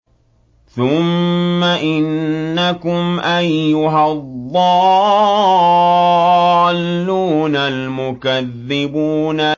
ثُمَّ إِنَّكُمْ أَيُّهَا الضَّالُّونَ الْمُكَذِّبُونَ